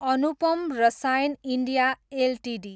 Anupam Rasayan India Ltd